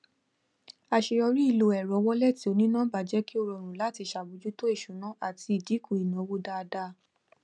àṣeyọrí ìlò ẹrọ wọlẹtì onínọmbà jẹ kí ó rọrùn láti ṣàbójútó ìṣúná àti ìdínkù ìnáwó dáadáa